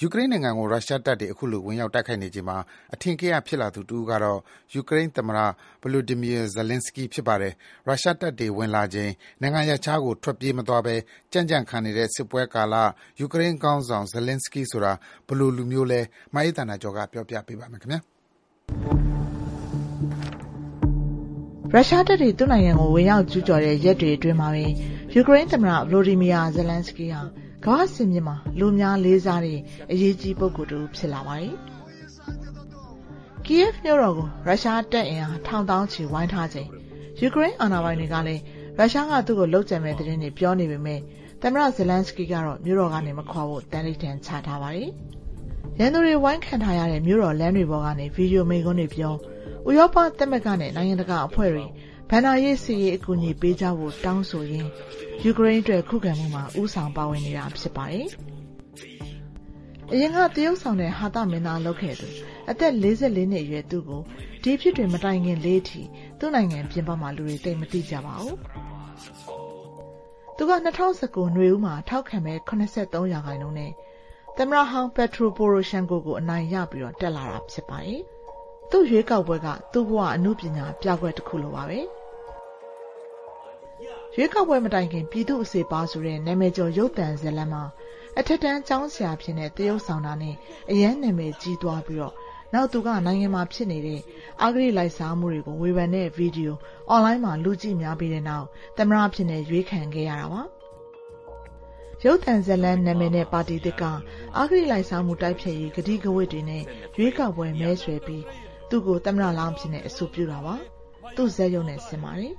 ယူကရိန်းနိုင်ငံကို ရုရှားတပ်တွေ အခုလို ဝင်ရောက်တိုက်ခိုက်နေချိန်မှာ အထင်ကရဖြစ်လာသူတဦးကတော့ ယူကရိန်းသမ္မတ ဗလိုဒီမီယာ ဇလန်းစကီး ဖြစ်ပါတယ်။ ရုရှားတပ်တွေ ဝင်လာချိန် နိုင်ငံရပ်ခြားကို ထွက်ပြေးမသွားဘဲ ကြံ့ကြံ့ခံနေတဲ့ စစ်ပွဲကာလ ယူကရိန်းခေါင်းဆောင် ဇလန်းစကီးဆိုတာ ဘယ်လိုလူမျိုးလဲ မအေးသန္တာကျော်ပြောပြပေးပါမယ်။ ရုရှားတပ်တွေ သူ့နိုင်ငံကို ဝင်ရောက်ကျူးကျော်တဲ့ ရက်တွေအတွင်းမှာပဲ ယူကရိန်းသမ္မတ ဗလိုဒီမီယာ ဇလန်းစကီးဟာ ကမ္ဘာ့စင်မြင့်မှာ လူအများလေးစားတဲ့ အရေးကြီး ပုဂ္ဂိုလ်တဦး ဖြစ်လာပါတယ်။ ကီးယက်ဗ်မြို့တော်ကို ရုရှားတပ်အင်အား ထောင်သောင်းချီ ဝိုင်းထားချိန်၊ ယူကရိန်းအာဏာပိုင်တွေကလည်း သူ့ကိုလုပ်ကြံမယ့်သတင်းတွေ ပြောနေပေမဲ့ သမ္မတ ဇလန်းစကီးကတော့ မြို့တော်ကနေ မခွာဖို့ သန္နိဋ္ဌာန်ချထားတာပါ။ ရန်သူတွေဝိုင်းခံထားရတဲ့ မြို့တော်လမ်းတွေပေါ်ကနေ ဗွီဒီယိုမိန့်ခွန်းတွေပြော၊ ဥရောပသမဂ္ဂနဲ့ နိုင်ငံတကာအဖွဲ့တွေ ဘဏ္ဍာရေး၊ စစ်ရေး အကူအညီပေးကြဖို့ တောင်းဆိုရင်း ယူကရိန်းအတွက် ခုခံမှုမှာ ဦးဆောင်ပါဝင်နေတာ ဖြစ်ပါတယ်။ အရင်က သရုပ်ဆောင်နဲ့ ဟာသမင်းသားလုပ်ခဲ့သူ အသက် ၄၄ နှစ်အရွယ် သူ့ကို ဒီအဖြစ်တွေ မတိုင်ခင်လေးအထိ သူ့နိုင်ငံပြင်ပမှာ လူတွေသိပ်သိမကြပါဘူး။ သူက ၂၀၁၉ နွေဦးမှာ ထောက်ခံမဲ ၇၃ ရာခိုင်နှုန်းနဲ့ သမ္မတဟောင်း ပတ်ထရိုပိုရိုရှန်ကို ကို အနိုင်ရပြီး တက်လာတာ ဖြစ်ပါတယ်။ သူ့ရွေးကောက်ပွဲက သူ့ဘဝအတွက် အနုပညာပြကွက်တခုလိုပါပဲ။ ရွေးကောက်ပွဲမတိုင်ခင်က ပြည်သူ့အစေအပါးဆိုတဲ့ နာမည်ကျော် ရုပ်သံဇာတ်လမ်းမှာ အထက်တန်းကျောင်းဆရာအဖြစ် သရုပ်ဆောင်ခဲ့တာနဲ့ အရမ်းနာမည်ကြီးသွားပြီးနောက် သူက နိုင်ငံအတွင်း အဂတိလိုက်စားမှုတွေကို ဝေဖန်နေတဲ့ ဗွီဒီယို အွန်လိုင်းမှာ လူကြည့်များပြီးနောက် သမ္မတအဖြစ် ရွေးခံရတာပါ။ ရုပ်သံဇာတ်လမ်းနာမည်နဲ့ ပါတီသစ်က အဂတိလိုက်စားမှုတိုက်ဖျက်ရေး ကတိကဝတ်တွေနဲ့ ရွေးကောက်ပွဲမဲဆွယ်ပြီး သူ့ကို သမ္မတလောင်းအဖြစ် အဆိုပြုတာပါ။ သူ့ဇာတ်ဆောင်နဲ့ ဆင်ပါတယ်။